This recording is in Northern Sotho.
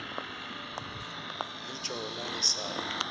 le tšona e sa le